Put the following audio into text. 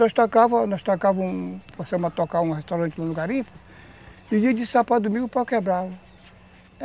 Nós tocava, nós tocava um... Passamos a tocar um restaurante no garimpo e dia de sábado para domingo o pau quebrava.